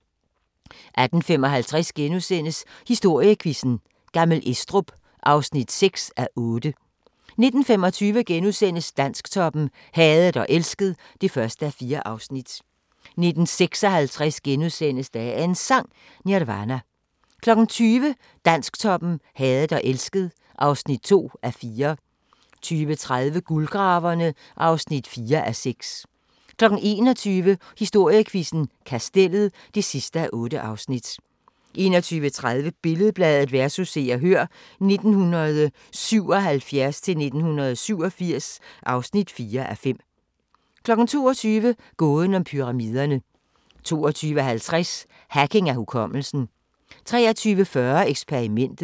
18:55: Historiequizzen: Gammel Estrup (6:8)* 19:25: Dansktoppen: Hadet og elsket (1:4)* 19:56: Dagens Sang: Nirvana * 20:00: Dansktoppen: Hadet og elsket (2:4) 20:30: Guldgraverne (4:6) 21:00: Historiequizzen: Kastellet (8:8) 21:30: Billed-Bladet vs. Se og Hør (1977-1987) (4:5) 22:00: Gåden om Pyramiderne 22:50: Hacking af hukommelsen 23:40: Eksperimentet